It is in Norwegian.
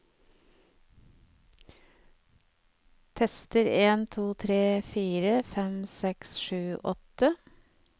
Tester en to tre fire fem seks sju åtte